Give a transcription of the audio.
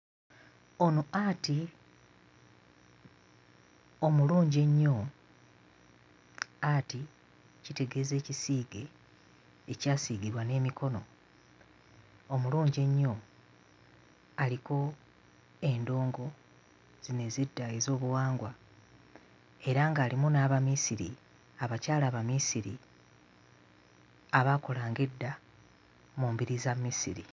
Ono art omulungi ennyo, art kitegeeza ekisiige ekyasiigibwa n'emikono, omulungi ennyo aliko endongo zino ez'edda ez'obuwangwa era ng'alimu n'Abamisiri, abakyala Abamisiri abaakolanga edda mu mbiri za Misiri.